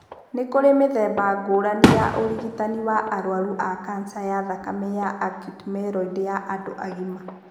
Nĩ kũrĩ mĩthemba ngũrani ya ũrigitani wa arũaru ma kanca ya thakame ya acute myeloid ya andũ agima.